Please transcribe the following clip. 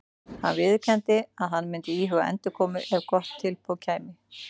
Hann viðurkenndi að hann myndi íhuga endurkomu ef gott tilboð kæmi.